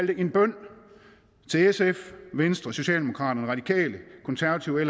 det en bøn til sf venstre socialdemokraterne radikale konservative